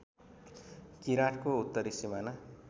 किराँतको उत्तरी सिमाना